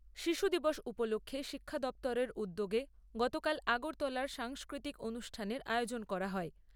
শিশু দিবস উপলক্ষে শিক্ষা দপ্তরের উদ্যোগে গতকাল আগরতলার সাংস্কৃতিক অনুষ্ঠানের আয়োজন করা হয়।